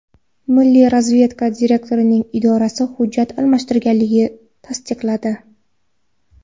Milliy razvedka direktorining idorasi hujjat almashtirilganligini tasdiqladi.